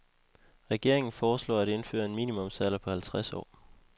Regeringen foreslår at indføre en minimumsalder på halvtreds år.